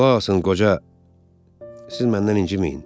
Qulaq asın qoca, siz məndən inciməyin.